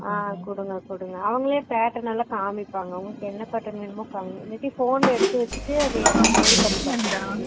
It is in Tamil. ஆஹா குடுங்க குடுங்க அவங்களே பாத்து நல்லா காமிப்பாங்க உங்களுக்கு எந்த cotton வேணுமோ இல்லனா phone ல எடுத்துவேச்சிட்டு